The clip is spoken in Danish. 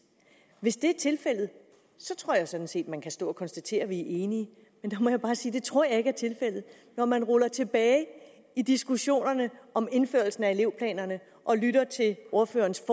hvis det er tilfældet tror jeg sådan set man kan stå at konstatere at vi er enige men der må jeg bare sige at det tror jeg ikke er tilfældet når man ruller tilbage i diskussionerne om indførelsen af elevplanerne og lytter til ordførerens